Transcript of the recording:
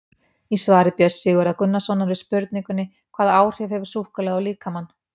Í svari Björns Sigurðar Gunnarssonar við spurningunni Hvaða áhrif hefur súkkulaði á líkamann?